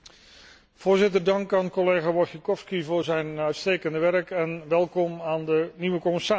Voorzitter, dank aan collega Wojciechowski voor zijn uitstekende werk, en welkom aan de nieuwe commissaris.